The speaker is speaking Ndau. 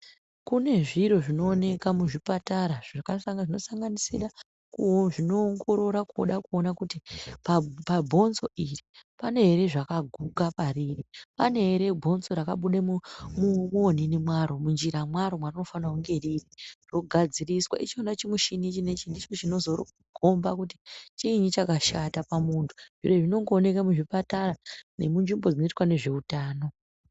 Kune zviro zvinooneka muzvipatara zvanosanganisira zvinoongorora kuda kuona kuti pabonzoo iri pane here zvakaguka pariri,,pane ere bonzo rakabuda muonini mwaro, munjira mwaro mwarinofanira kunge riri rogadziriswa. ichona chimushini chinechi ichi ndicho chinozokhomba kuti chiinji chakashata pamuntu zviro izvi zvinongooneka muzvipatara nemunzvimbo zvinoita ngezveutano